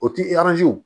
O ti